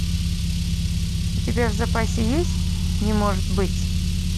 у тебя в запасе есть не может быть